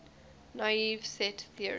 naive set theory